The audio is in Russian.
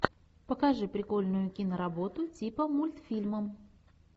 покажи прикольную киноработу типа мультфильма